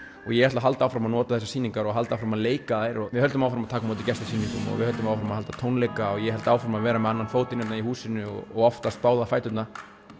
ég ætla að halda áfram að notar þessar sýningar og halda áfram að leika þær og við höldum áfram að taka á móti gestasýningum og við höldum áfram að halda tónleika og ég held áfram að vera með annan fótinn hérna í húsinu og oftast báða fæturna